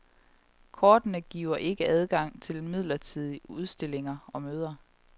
Kortene giver ikke adgang til midlertidige udstillinger og møder.